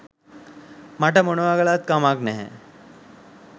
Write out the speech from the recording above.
මට මොනවා කළත් කමක් නැහැ.